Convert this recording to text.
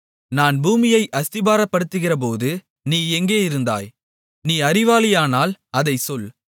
நான் பூமியை அஸ்திபாரப்படுத்துகிறபோது நீ எங்கேயிருந்தாய் நீ அறிவாளியானால் அதைச் சொல்